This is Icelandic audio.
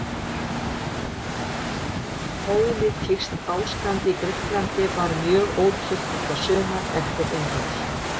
Pólitískt ástand í Grikklandi var mjög ótryggt þetta sumar eftir innrás